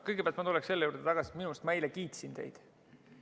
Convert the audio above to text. Kõigepealt ma tuleksin selle juurde tagasi, et minu arust ma eile kiitsin teid.